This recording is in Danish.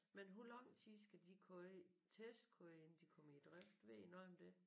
Men hvor lang tid skal de køre testkøre inden de kommer i drift ved I noget om det?